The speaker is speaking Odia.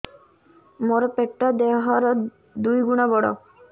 ମୋର ପେଟ ଦେହ ର ଦୁଇ ଗୁଣ ବଡ